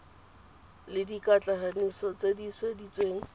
le dikatlanegiso tse di sweditsweng